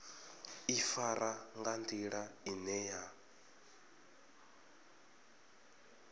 ḓifara nga nḓila ine ya